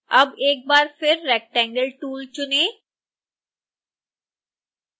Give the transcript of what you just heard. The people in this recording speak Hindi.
अब एक बार फिर rectangle tool चुनें